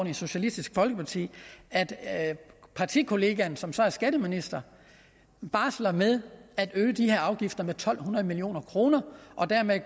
i socialistisk folkeparti at at partikollegaen som så er skatteminister barsler med at øge de her afgifter med to hundrede million kroner og dermed